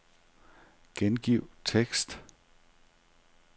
Gengiv tekst.